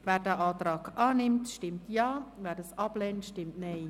Wer diesen Antrag annimmt, stimmt Ja, wer diesen ablehnt, stimmt Nein.